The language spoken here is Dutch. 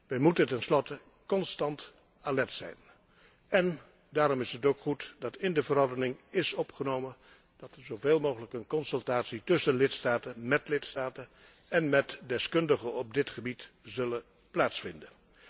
Wij moeten tenslotte constant alert zijn, en daarom is het ook goed dat in de verordening is opgenomen dat er zoveel mogelijk overleg tussen lidstaten, met lidstaten en met deskundigen op dit gebied zal plaatsvinden.